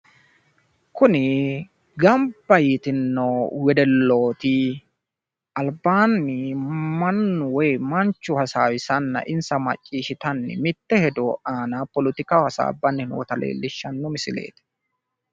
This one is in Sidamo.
Kuni gamba yitinno wedellooti albaanni mannu woy Manchu hasaawisanna insa macciishshitanna mitte hedo aana politikaho hasaambanni noota leellishshanno misileeti.